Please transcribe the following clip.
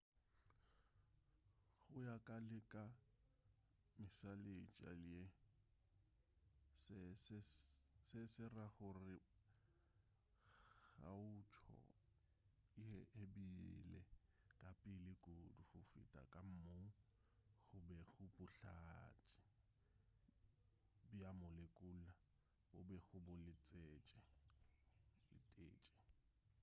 go ya ka le ka mešaletša ye se se ra gore kgaotšo ye e bile ka pele kudu go feta ka moo go bego bohlatse bja molekula bo bego bo letetše